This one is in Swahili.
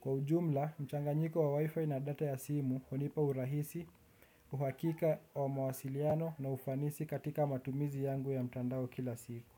Kwa ujumla, mchanganyiko wa wifi na data ya simu hunipa urahisi, uhakika wa mawasiliano na ufanisi katika matumizi yangu ya mtandao kila siku.